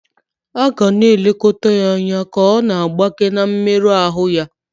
A ga na-elekọta ya anya ka ọ na-agbake na mmerụ ahụ ya.